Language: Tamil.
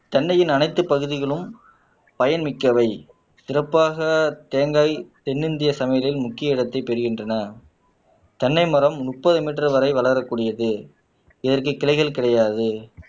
தென்னையின் அனைத்து பகுதிகளும் பயன் மிக்கவை சிறப்பாக தேங்காய் தென்னிந்திய சமையலில் முக்கிய இடத்தை பெறுகின்றன தென்னை மரம் முப்பது மீட்டர் வரை வளரக்கூடியது இதற்கு கிளைகள் கிடையாது